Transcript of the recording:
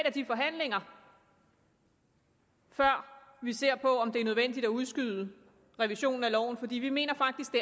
af de forhandlinger før vi ser på om det er nødvendigt at udskyde revisionen af loven for vi mener faktisk